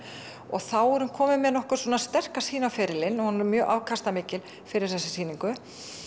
og þá er hún komin með nokkuð sterka sýn á ferilinn hún er mjög afkastamikil fyrir þessa sýningu